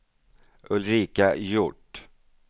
Ulrika Hjort